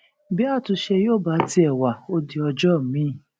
bí àtúnṣe yóò bá tiẹ wá ó di ọjọ miín